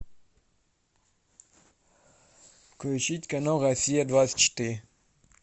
включить канал россия двадцать четыре